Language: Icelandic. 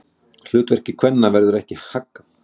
Hlutverki kvenna verður ekki haggað.